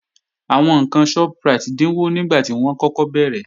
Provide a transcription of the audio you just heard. Àwọn ǹkan Shoprite dínwó nígbàtí wọ́n kọ́kọ́ bẹ̀rẹ̀